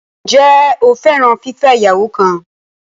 Ǹjẹ́ o fẹ́ràn fífẹ́ ìyàwó kan?